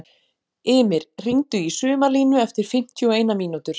Ymir, hringdu í Sumarlínu eftir fimmtíu og eina mínútur.